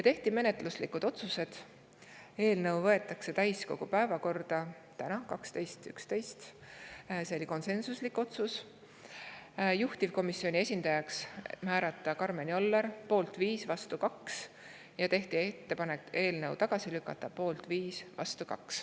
Tehti menetluslikud otsused: võtta eelnõu täiskogu päevakorda täna, 12.11, see oli konsensuslik otsus; määrata juhtivkomisjoni esindajaks Karmen Joller, poolt 5, vastu 2; teha ettepanek eelnõu tagasi lükata, poolt 5, vastu 2.